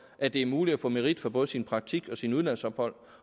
at det er muligt at få merit for både sin praktik og sit udlandsophold